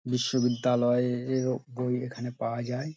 বিশ্ববিদ্যালয়ে এর ও বই এখানে পাওয়া যায় ।